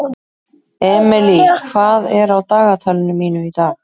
Emely, hvað er á dagatalinu mínu í dag?